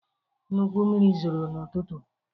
Nnukwu mmiri zoro n’ụtụtụ.